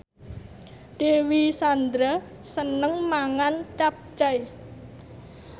Dewi Sandra seneng mangan capcay